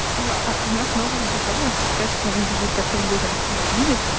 аа а она снова убежала кажется она бежит ко всем людям которых видит